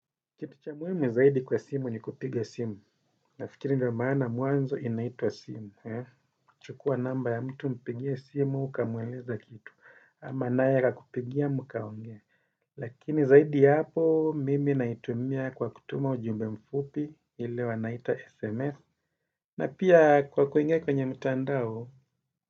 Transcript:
Kitu cha muhimu zaidi kwa simu ni kupiga simu. Nafikiri ndo maana mwanzo inaitwa simu. Chukua namba ya mtu mpigie simu ukamweleza kitu ama naya akakupigia mkaongea. Lakini zaidi ya hapo mimi naitumia kwa kutuma ujumbe mfupi ile wanaita sms na pia kwa kuingia kwenye mtandao.